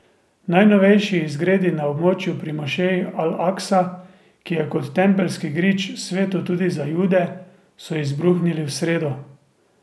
Najnovejši izgredi na območju pri mošeji Al Aksa, ki je kot Tempeljski grič sveto tudi za jude, so izbruhnili v sredo.